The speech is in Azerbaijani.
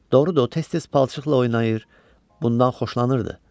Doğrudur, o tez-tez palçıqla oynayır, bundan xoşlanırdı.